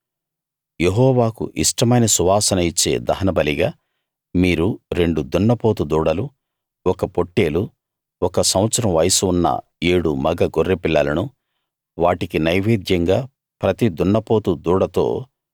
యెహోవాకు ఇష్టమైన సువాసన ఇచ్చే దహనబలిగా మీరు రెండు దున్నపోతు దూడలు ఒక పొట్టేలు ఒక సంవత్సరం వయస్సు ఉన్న ఏడు మగ గొర్రెపిల్లలను వాటికి నైవేద్యంగా ప్రతి దున్నపోతు దూడతో